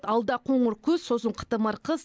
алда қоңыр күз сосын қытымыр қыс